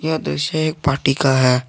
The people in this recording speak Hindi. यह दृश्य एक पार्टी का है।